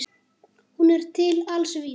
Hún er til alls vís.